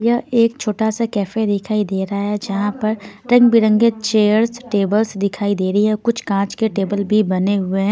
यह एक छोटा सा कैफे दिखाई दे रहा है जहां पर रंग बिरंगे चेयर्स टेबल्स दिखाई दे रही है कुछ कांच के टेबल भी बने हुए हैं.